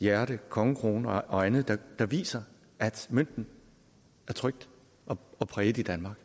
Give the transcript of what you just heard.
hjerte kongekrone og andet der viser at mønten er trykt og præget i danmark